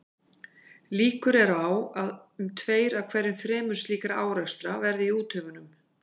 Líkur eru á að um tveir af hverju þremur slíkra árekstra verði í úthöfunum.